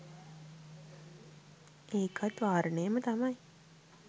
ඒකත් වාරණයම තමයි.